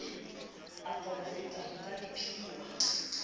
a porafete ho ka ipehwa